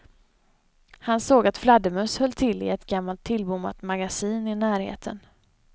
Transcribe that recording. Han såg att fladdermöss höll till i ett gammalt tillbommat magasin i närheten.